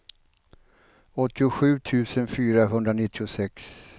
åttiosju tusen fyrahundranittiosex